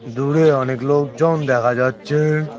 দূরে অনেক লোকজন দেখা যাচ্ছে।